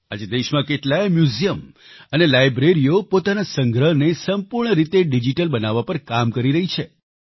આજે દેશમાં કેટલાય મ્યુઝિયમ અને લાઈબ્રેરીઓ પોતાના સંગ્રહને સંપૂર્ણ રીતે ડિજીટલ બનાવવા પર કામ કરી રહ્યા છે